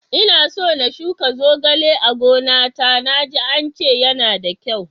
Inaso na shuka zogale a gona ta, na ji ance yana da kyau.